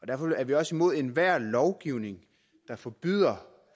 derfor er vi også imod enhver lovgivning der forbyder